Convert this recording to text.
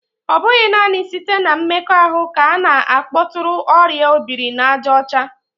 Ọ bụghị naanị site na mmekọahụ ka a na-akpọtụrụ oria obiri-na-aja ocha